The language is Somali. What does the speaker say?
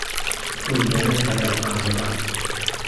Dhul beereedka ayaa u baahan waraab.